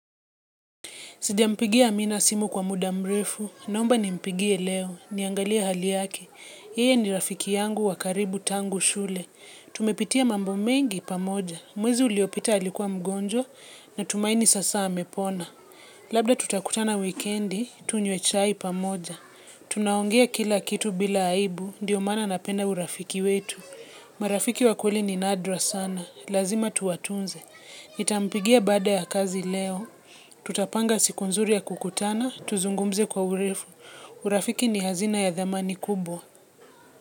Sijampigia amina simu kwa muda mrefu, naomba nimpigie leo, niangalia hali yaki. Yeye ni rafiki yangu wakaribu tangu shule. Tumepitia mambo mengi pamoja, mwezi uliopita alikuwa mgonjwa natumaini sasa amepona. Labda tutakutana wikendi, tunywe chai pamoja. Tunaongea kila kitu bila aibu, ndio maana napenda urafiki wetu. Marafiki wakweli ni nadra sana, lazima tuwatunze. Nitampigia baada ya kazi leo, tutapanga siku nzuri ya kukutana, tuzungumze kwa urefu, urafiki ni hazina ya thamani kubo.